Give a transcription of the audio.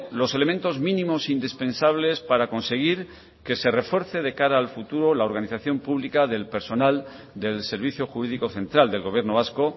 los elementos mínimos indispensables para conseguir que se refuerce de cara al futuro la organización pública del personal del servicio jurídico central del gobierno vasco